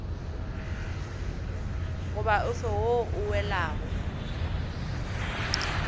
goba ofe wo o welago